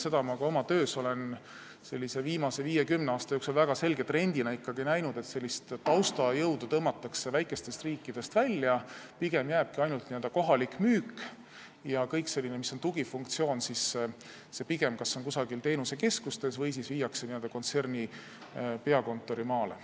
Seda olen ma ka oma töös viimase viie või kümne aasta jooksul väga selge trendina näinud, et sellist taustajõudu tõmmatakse väikestest riikidest välja, pigem jääbki sinna ainult n-ö kohalik müük ja kõik tugifunktsioonid on kas kusagil teenusekeskustes või viiakse kontserni peakontori maale.